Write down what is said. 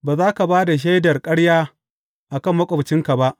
Ba za ka ba da shaidar ƙarya a kan maƙwabcinka ba.